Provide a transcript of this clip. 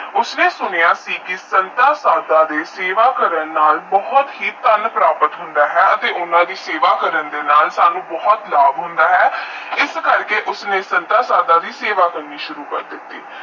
ਉਸਨੇ ਸੁੰਨਾ ਕਿ ਸੰਤਾ ਸਾਦਾ ਦੀ ਸਵਾ ਦੇ ਸੇਵਾ ਕਰਾਂਨ ਨਾਲ ਬਹੁਤ ਹੀ ਥਾਨ ਪ੍ਰਾਪਤ ਹੁੰਦਾ ਹੈ ਅਤੇ ਓਹਨਾ ਦੀ ਸੇਵਾ ਕਰਨ ਨਾਲ ਸਾਨੂੰ ਬਹੁਤ ਲਾਬ ਹੁੰਦਾ ਹੈ ਇਸ ਕਰਕੇ ਉਸਨੂੰ ਸੰਤਾ ਸਦਾ ਦੀ ਸੇਵਾ ਕਰਨੀਂ ਸ਼ੁਰੂ ਕਰ ਦਿਤੀ